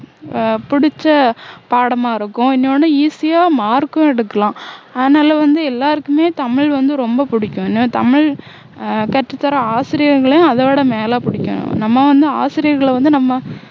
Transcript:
ஆஹ் புடிச்ச பாடமா இருக்கும் இன்னொண்ணு easy ஆ mark உம் எடுக்கலாம் அதனால வந்து எல்லாருக்குமே தமிழ் வந்து ரொம்ப புடிக்கும் ஏன்னா தமிழ் ஆஹ் கற்றுத்தர்ற ஆசிரியர்களை அதோட மேல புடிக்கும் நம்ம வந்து ஆசிரியர்களை வந்து நம்ம